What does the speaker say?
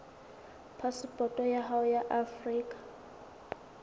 phasepoto ya hao ya afrika